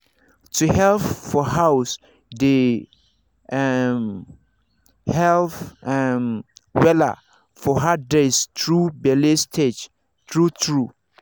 to help for house dey um help um wella for hard days through bele stage true true